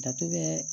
Dato bɛ